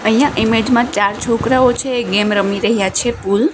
અહિયા ઇમેજ મા ચાર છોકરાઓ છે ગેમ રમી રહ્યા છે પૂલ .